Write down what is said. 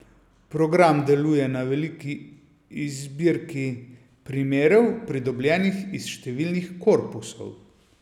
Program deluje na veliki zbirki primerov, pridobljenih iz številnih korpusov.